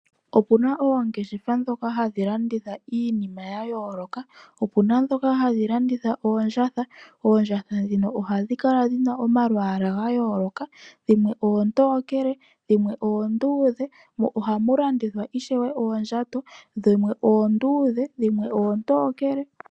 Opu na oongeshefa ndhoka hadhi landitha iinima ya yooloka. Opu na ndhoka hadhi landitha oondjatha. Oondjatha ndhika ohadhi kala dhi na omalwaala ga yooloka. Dhimwe oontookele, dhimwe oonduudhe. Ohamu landithwa ishewe oondjato, dhimwe oonduudhe nadhimwe oontookele.